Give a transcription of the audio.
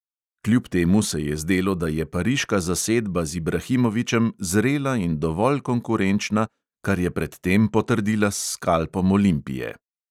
Kljub temu se je zdelo, da je pariška zasedba z ibrahimovićem zrela in dovolj konkurenčna, kar je pred tem potrdila s skalpom olimpije.